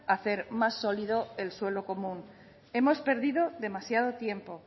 hacer más sólido el suelo común hemos perdido demasiado tiempo